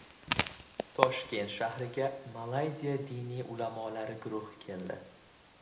Toshkent shahriga Malayziya diniy ulamolari guruhi keldi.